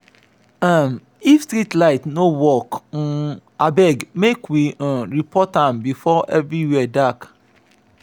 um if street light no dey work um abeg make we um report am before everywhere dark.